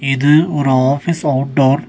இது ஒரு office outdoor .